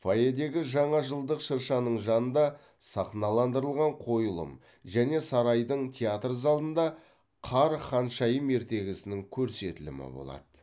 фойедегі жаңа жылдық шыршаның жанында сахналандырылған қойылым және сарайдың театр залында қар ханшайым ертегісінің көрсетілімі болады